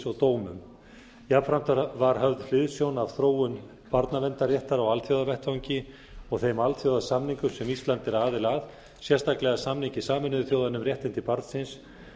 og dómum jafnframt var höfð hliðsjón af þróun barnaverndarréttar á alþjóðavettvangi og þeim alþjóðasamningum sem ísland er aðili að sérstaklega samningi sameinuðu þjóðanna um réttindi barnsins